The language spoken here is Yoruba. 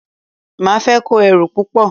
Máa fẹ́ kó èrò púpọ̀.